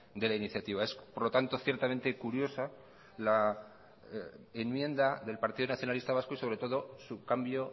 de la iniciativa es por lo tanto ciertamente curiosa la enmienda del partido nacionalista vasco sobre todo su cambio